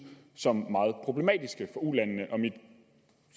som meget problematiske for ulandene mit